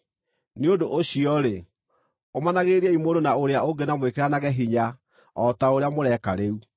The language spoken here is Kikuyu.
Nĩ ũndũ ũcio-rĩ, ũmanagĩrĩriai mũndũ na ũrĩa ũngĩ na mwĩkĩranage hinya o ta ũrĩa mũreka rĩu.